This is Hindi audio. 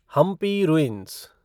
हम्पी रुइंस